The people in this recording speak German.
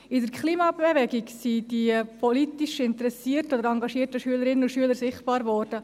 In der Klimabewegung sind die politisch interessierten oder engagierten Schülerinnen und Schüler sichtbar geworden.